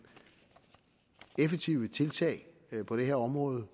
effektive tiltag på det her område